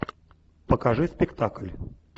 покажи спектакль